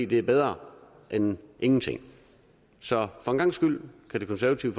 det er bedre end ingenting så for en gangs skyld kan det konservative